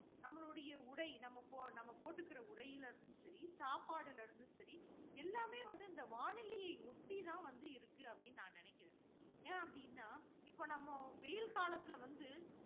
நம்மளுடைய உடை. நம்ம நம்ம போட்டுக்குற உடைல இருந்தும் சரி, சாப்பாடுல இருந்து சரி, எல்லாமே வந்து இந்த வானிலையை ஒட்டி தான் வந்து இருக்கு அப்படின்னு நான் நினைக்கிறேன். ஏன் அப்படின்னா இப்போ நம்ம வெயில் காலத்தில வந்து